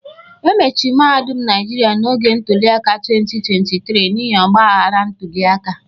E mechiri mahadum Naịjirịa n'oge ntuliaka 2023 n'ihi ọgba aghara ntuli aka